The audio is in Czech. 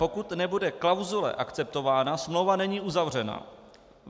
Pokud nebude klauzule akceptována, smlouva není uzavřena.